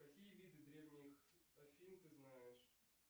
какие виды древних афин ты знаешь